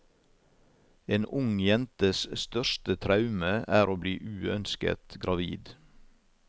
En ung jentes største traume er å bli uønsket gravid.